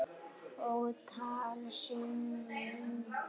Ótal sinnum.